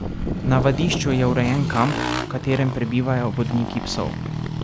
Na vadišču je urejen kamp, v katerem prebivajo vodniki psov.